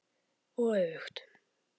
Og öfugt.